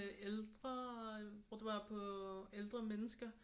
Ældre hvor det var på ældre mennesker